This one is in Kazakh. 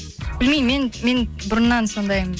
білмеймін мен мен бұрыннан сондаймын